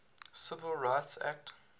civil rights act